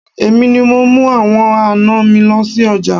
Èmi ni mo ń mú àwọn àná mi lọ sí ọjà.